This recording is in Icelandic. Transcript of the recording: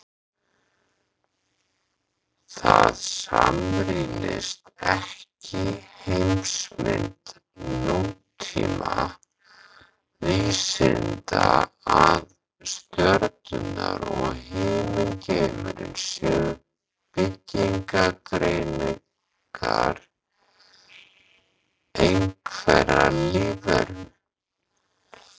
Það samrýmist ekki heimsmynd nútíma vísinda að stjörnurnar og himingeimurinn séu byggingareiningar einhverrar lífveru.